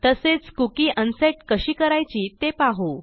तसेच cookie unset कशी करायची ते पाहू